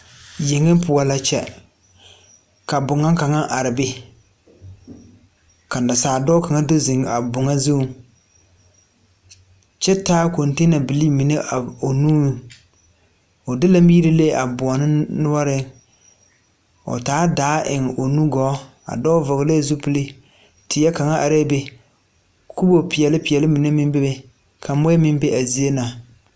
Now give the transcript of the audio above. Yeng pʋɔ la a kyɛ ka bon are ka naasaaldɔɔ do ziŋ a bon zu kyɛ laabilii mine o nu pʋɔ.O de la mire le a bon nuureŋ kyɛ taa daa a eŋ o nugɔɔ pʋɔ. A dɔɔ vɔgle la zupil. Teɛ kaŋ arɛɛ be, kusipeɛle mine meŋ beebe kyɛ ka muɔ meŋ bebe.